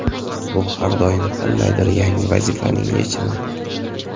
Bu har doim qandaydir yangi vazifaning yechimi.